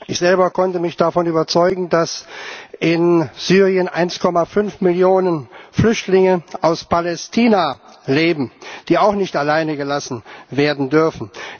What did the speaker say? Ich selber konnte mich davon überzeugen, dass in Syrien 1,5 Millionen Flüchtlinge aus Palästina leben, die auch nicht allein gelassen werden dürfen.